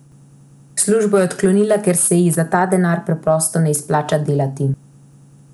Službo je odklonila, ker se ji za ta denar preprosto ne izplača delati.